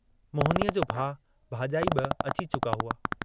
मोहिनीअ जो भाउ भाजाई बि अची चुका हुआ।